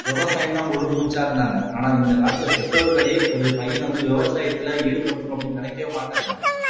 விவசாயம்தான் முழு மூச்சா இருந்தாங்க ஆனா இந்த காலத்துல பெற்றோர்களே ஒரு பையன் வந்து விவசாயத்துல ஈடுபடுத்தணும் அப்படின்னு நினைக்கவே மாட்டேங்கிறாங்க